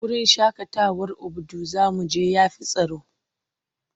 Wurin shaƙatawar Obudu za mu je ya fi tsaro.